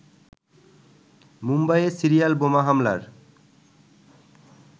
মুম্বাইয়ে সিরিয়াল বোমা হামলার